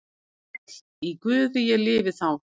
Sæll í Guði ég lifi þá.